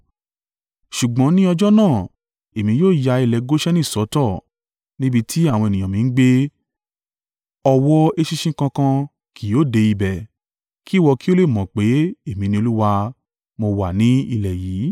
“ ‘Ṣùgbọ́n ni ọjọ́ náà, Èmi yóò ya ilẹ̀ Goṣeni sọ́tọ̀, níbi tí àwọn ènìyàn mi ń gbé, ọ̀wọ́ eṣinṣin kankan ki yóò dé ibẹ̀. Kí ìwọ kí ó lè mọ̀ pé, Èmi ni Olúwa, mo wà ni ilẹ̀ yìí.